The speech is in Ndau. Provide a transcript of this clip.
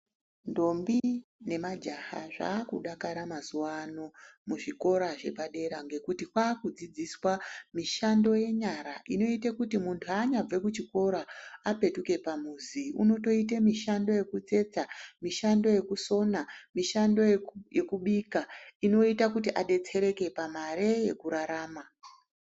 Ndombi nemajaha zvakudakara mazuwano muzvikora zvepadera ngekuti kwakudzidziswa mishando yenyara inoite kuti muntu haanyabve kuchikora, apetuke pamuzi, unotoita mishando yekutsetsa, mishando yekusona mishando yekubika inoita kuti adetsereka pamari yekurarama.